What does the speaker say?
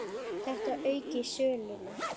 Þetta auki söluna.